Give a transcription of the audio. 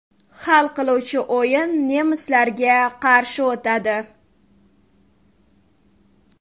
Hal qiluvchi o‘yin nemislarga qarshi o‘tadi.